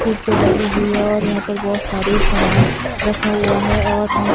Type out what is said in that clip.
कुर्सियां लगी हुई है और यहां पर बहुत सारे सामान रखा हुआ है और हम--